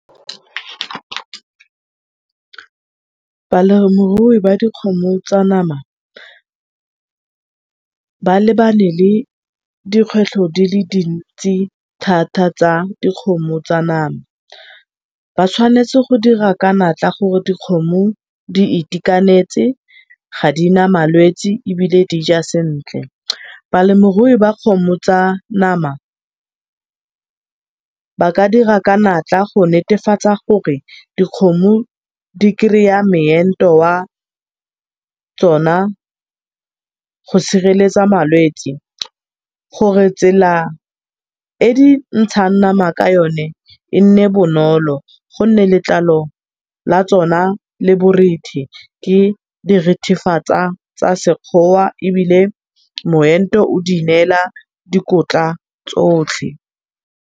Balemirui ba dikgomo tsa nama, ba lebane le dikgwetlho di le dintsi thata tsa dikgomo tsa nama. Ba tshwanetse go dira ka matla gore dikgomo di itekanetse ha di na malwetse ebile dija sentle. Balemirui ba kgomo tsa nama ba ka dira ka natla gonetefatsa gore dikgomo di kry-a meento wa tsona go sireletsa malwetse, gore tsela e dintshang nama ka yone e bonolo, gonne letlalo la tsona le borethe, tsa sekgowa ebile moento o di neela dikotla tsotlhe.